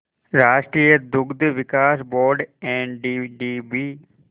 राष्ट्रीय दुग्ध विकास बोर्ड एनडीडीबी